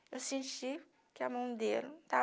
Eu senti que a mão dele estava